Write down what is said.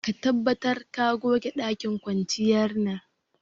Ka tabbatar ka goge dakin kwanciyar nan.